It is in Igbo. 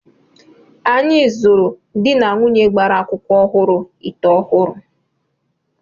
Anyị zụụrụ dị na nwaanyi gbara akwụkwọ ọhụrụ ite ọhụrụ.